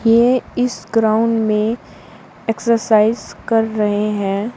ये इस ग्राउंड में एक्सरसाइज कर रहे है।